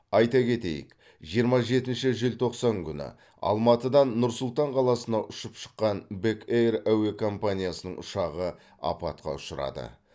айта кетейік жиырма жетінші желтоқсан күні алматыдан нұр сұлтан қаласына ұшып шыққан бек эйр әуекомпаниясының ұшағы апатқа ұшырады